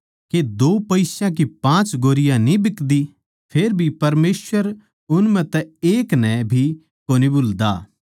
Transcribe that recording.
के दो पिस्या की पाँच गौरैयाँ एक छोट्टी चिड़ियाँ न्ही बिकदी फेरभी परमेसवर उन म्ह तै एक नै भी कोनी भुल्दा